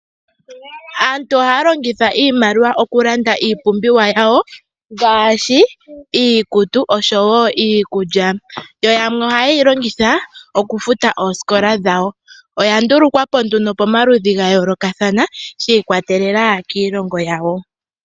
Aantu ohaa longitha iimaliwa okulanda iipumbiwa yawo ngaashi iikutu oshowo iikulya yo yamwe ohayeyi longitha okufuta oosikola dhawo ,oya ndulukwa po nee momaludhi ga yooloka shi ikwatelela kiilongo yawo.